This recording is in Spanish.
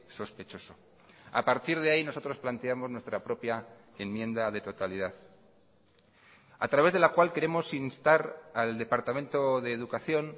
sospechoso a partir de ahí nosotros planteamos nuestra propia enmienda de totalidad a través de la cual queremos instar al departamento de educación